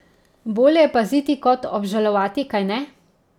Bolje je paziti kot obžalovati, kajne?